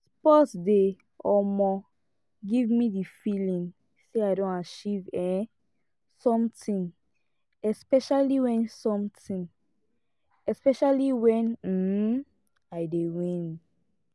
sport dey um give me the feeling sey i don achieve um something especially wen something especially wen um i dey win